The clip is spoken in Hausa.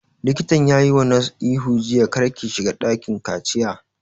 Likatan ya wa nurse ihu jiya 'Kar ki shiga dakin kaciya'